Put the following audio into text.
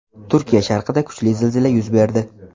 Turkiya sharqida kuchli zilzila yuz berdi.